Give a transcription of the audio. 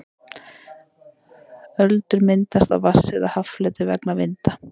öldur myndast á vatns eða haffleti vegna vinda